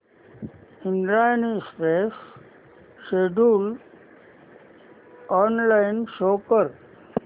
Indrayani express schedule online show कर